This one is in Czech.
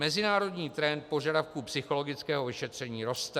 Mezinárodní trend požadavků psychologického vyšetření roste.